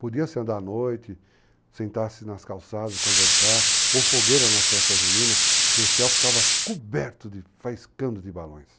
Podia se andar à noite, sentar-se nas calçadas e conversar, ou fogueira nas festas juninas, porque o céu ficava coberto de faiscando de balões.